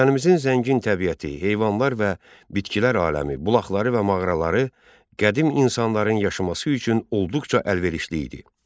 Vətənimizin zəngin təbiəti, heyvanlar və bitkilər aləmi, bulaqları və mağaraları qədim insanların yaşaması üçün olduqca əlverişli idi.